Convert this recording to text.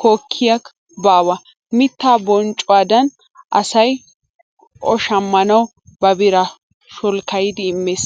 kokkayikka baawa! mittaa bonccuwaadan asay o shammanawu ba biraa sholkkayidi immees.